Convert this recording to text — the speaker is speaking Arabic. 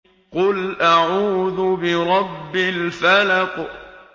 قُلْ أَعُوذُ بِرَبِّ الْفَلَقِ